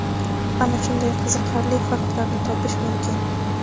ana shunday qiziqarli faktlarni topish mumkin.